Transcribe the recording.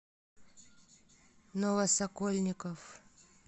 новосокольников